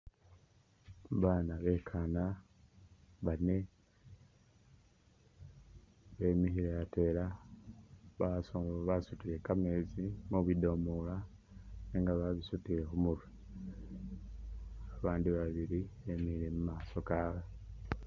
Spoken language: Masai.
Bana bekana bane bemile atwela basutile kameetsi mubidomola nenga babisutile khumurwe babandi babili bemile mumaso kawe.